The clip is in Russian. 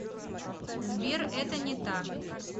сбер это не так